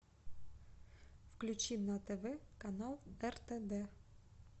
включи на тв канал ртд